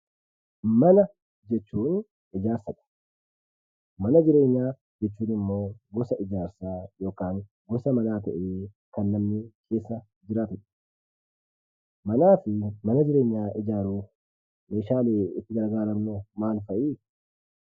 Mana jechuun ijaarsadha. Mana jireenyaa jechuun immoo gosa ijaarsaa yookaan gosa manaa ta'ee kan namni keessa jiraatudha. Manaa fi mana jireenyaa ijaaruuf meeshaan nuti gargaaramnu maal fa'i?